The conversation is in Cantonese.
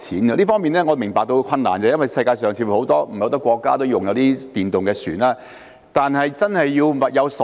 我明白這方面存在困難，因為世界上似乎並沒有很多國家使用電動船隻。但是，必須物有所值。